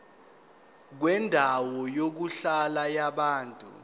kwendawo yokuhlala yabantu